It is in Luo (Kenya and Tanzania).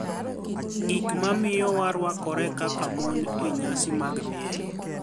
Gik mamiyo warwakore kaka moni e niyasi mag miel